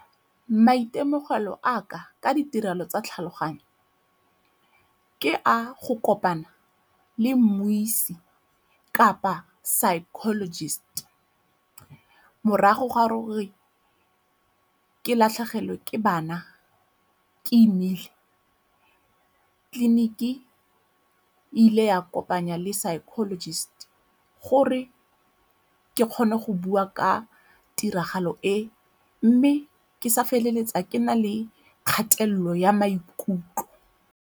Maitemogelo a ka ka ditirelo tsa tlhaloganyo ke a go kopana le mmuisi kapa psychologist morago ga gore ke latlhegelwe ke bana ke imile. Tleliniki e ile ya kopanya le psychologist gore ke kgone go bua ka tiragalo e mme ke sa feleletsa ke na le kgatelelo ya maikutlo.